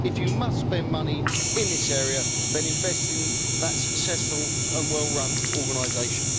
If you must spend money in this area, then invest in that successful and well run organisation.